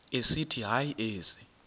esithi hayi ezi